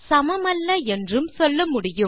சமமல்ல என்றும் சொல்ல முடியும்